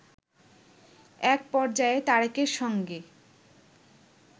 একপর্যায়ে তারেকের সঙ্গে